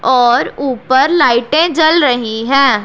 और ऊपर लाइटें जल रही हैं।